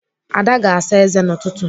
Ada ga-asa ézé n'ụtụtụ.